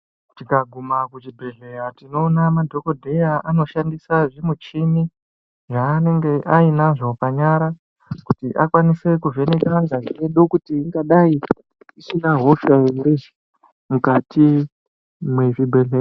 Tikaguma kuchibhedhleya tinoona madhokodheya anoshandisa zvimuchini yaanonga ainazvo panyara kuti akwanise kuvheneke ngazi yedu kuti ingadai isina hosha here mukati mwezvibhehlera.